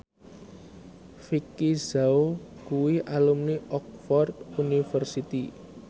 Vicki Zao kuwi alumni Oxford university